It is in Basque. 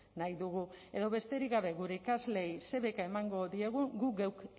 nahi dugu edo besterik gabe gure ikasleei ze beka emango diegun guk geuk